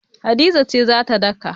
Hadiza ce za ta daka.